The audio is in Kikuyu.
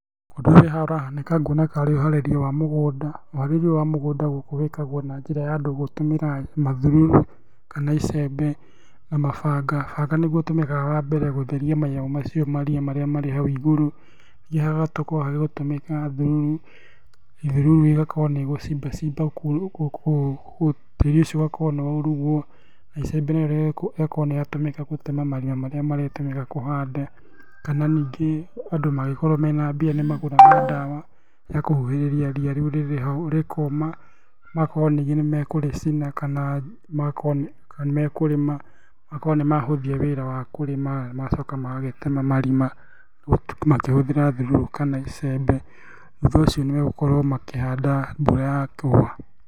Ũndũ ũrĩa haha ũrahanĩka nguona karĩ ũharĩria wa mũgũnda. Ũharĩrĩa ũyũ wa mũgũnda gũkũ wĩkagwao na njĩra ya andũ gũtũmĩra ma thururu, kana icembe, na mabanga. Banga nĩguo ũtũmĩkaga wa mbere gũtheria manyamũ macio maria marĩa marĩ hau igũrũ, nĩngĩ hagakorwo hagĩtũmĩka thururu. Thururu ĩgakorwo nĩ ĩgũcimba cimba kũu, tĩri ũcio ũgakorwo nĩ waurugwo na icembe narĩo rĩgakorwo nĩ rĩatũmĩka gũtema marima marĩa marĩtũmĩka kũhanda, kana ningĩ andũ magĩkorwo mena mbia nĩmagũraga ndawa ya kũgirĩrĩria ria rĩu rĩrĩ haũ rĩkoma. Magakorwo ningĩ nĩ mekũrĩcina kana nĩ mekũrĩma, magakorwo nĩ mahũthia wĩra wa kũrĩma. Magacoka magagĩtema marima makĩhũthĩra thururu kana icembe, thutha ũcio nĩ megũgĩkorwo makĩhanda mbura yakũa.